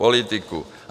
Politiku.